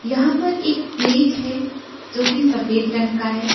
यहां पर एक प्लेट है जो कि सफेद रंग का है।